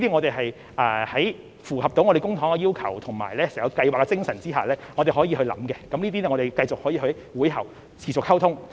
在符合公帑的要求和整項計劃的精神下，我們可以考慮，也可以在會後繼續溝通，看看還可以多做些甚麼。